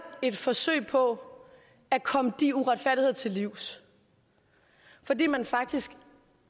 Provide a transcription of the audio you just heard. et forsøg på at komme de uretfærdigheder til livs fordi man faktisk